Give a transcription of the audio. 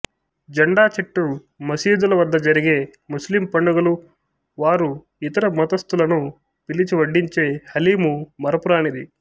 జెండా చెట్టు మసీదుల వద్ద జరిగే ముస్లిం పండుగలు వారు ఇతర మతస్థులను పిలిచి వడ్డించే హలీము మరుపురానిది